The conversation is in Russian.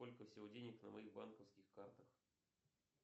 сколько всего денег на моих банковских картах